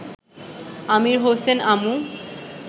আমির Hossain আমু